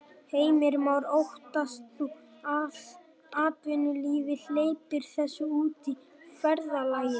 Heimir Már: Óttast þú að atvinnulífið hleypir þessu út í verðlagið?